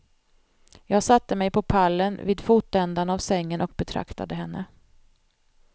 Jag satte mig på pallen vid fotändan av sängen och betraktade henne.